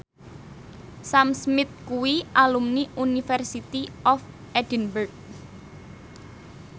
Sam Smith kuwi alumni University of Edinburgh